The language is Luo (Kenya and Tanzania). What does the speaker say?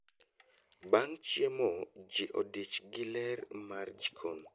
Bang' chiemo, jii odich gi ler mar jikon